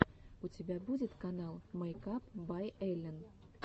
у тебя будет канал мэйкап бай эллин